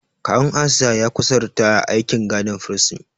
Kawun Asiya ya kusa ritaya a aikin gadin firsin.